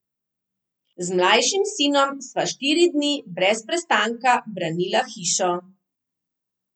Z mlajšim sinom sva štiri dni brez prestanka branila hišo.